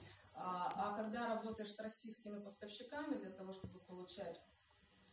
а когда работаешь с российскими поставщиками для того чтобы получать